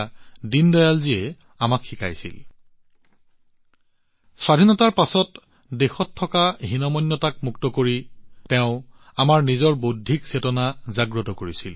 এক প্ৰকাৰে তেওঁ স্বাধীনতাৰ পিছত দেশত থকা হীনমন্যতাৰ পৰা আমাক মুক্ত কৰি আমাৰ নিজৰ বৌদ্ধিক চেতনা জাগ্ৰত কৰিছিল